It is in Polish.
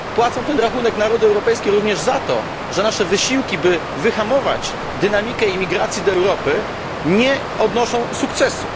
Płacą ten rachunek narody europejskie również za to, że nasze wysiłki, by wyhamować dynamikę imigracji do Europy, nie odnoszą sukcesu.